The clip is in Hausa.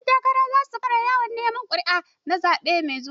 Ƴan takara za su fara yawon neman ƙuri'o na zaɓe mai zuwa.